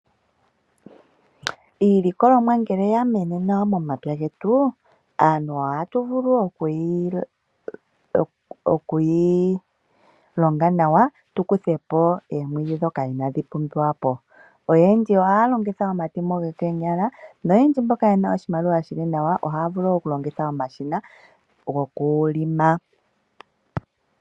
Iilikolomwa ngele yamenene nawa momapya getu aantu ohatu vulu okuyi longa nawa tu kuthe po eemwidhi dhoka inadhi pumbiwa po. Oyendji ohaya longitha omatemo gokonyala, noyendji mboka yena oshimaliwa shili nawa ohaya vulu okulongitha omashina go kulima.